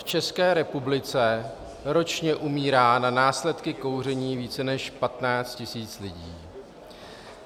V České republice ročně umírá na následky kouření více než 15 tisíc lidí.